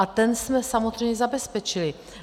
A ten jsme samozřejmě zabezpečili.